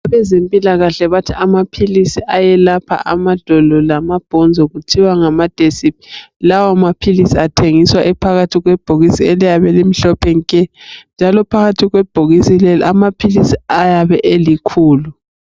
Abezempikahle bathi amaphilizi ayelapha amadolo lamabhonzo kuthiwa ngamadesi lawa maphilizi athengiswa ephakathi kwebhokisini eliyabe elimhlophe nke njalo phakathi kwebhokisi lelo amaphilisi ayabe elikhulu.